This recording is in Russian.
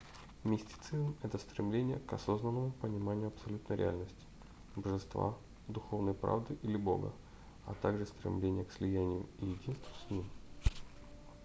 мистицизм это стремление к осознанному пониманию абсолютной реальности божества духовной правды или бога а также стремление к слиянию и единству с ним